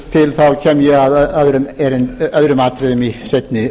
ástæða er til kem ég að öðrum atriðum í seinni